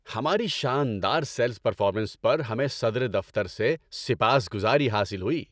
ہماری شاندار sales performance پر ہمیں صدر دفتر سے سپاسگزاری حاصل ہوئی۔